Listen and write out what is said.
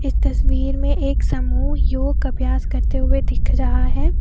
इस तस्वीर में एक समूह योग अभ्यास करते हुए दिख रहा है।